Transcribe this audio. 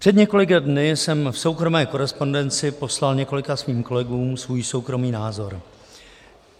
Před několika dny jsem v soukromé korespondenci poslal několika svým kolegům svůj soukromý názor.